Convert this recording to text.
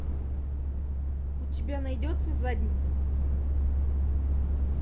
у тебя найдется задница